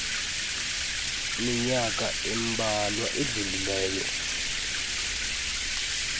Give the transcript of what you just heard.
minyaka imbalwa idlulileyo